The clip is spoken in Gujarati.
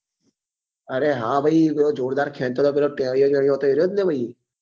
અરે હા ભાઈ પેલો જોરદાર ખેંચતો હતો અરે હા ભાઈ પેલો ટેણીયો ટેણીયો હતો એ જ ને ભાઈ હા હા ભાઈ